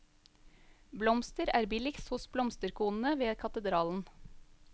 Blomster er billigst hos blomsterkonene ved katedralen.